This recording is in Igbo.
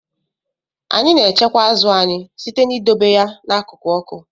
Anyị na-echekwa azụ anyị site n'idobe ya n'akụkụ ọkụ.